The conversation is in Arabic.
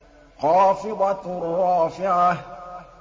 خَافِضَةٌ رَّافِعَةٌ